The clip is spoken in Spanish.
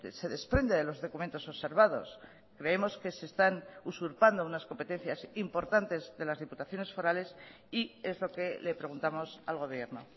se desprende de los documentos observados creemos que se están usurpando unas competencias importantes de las diputaciones forales y es lo que le preguntamos al gobierno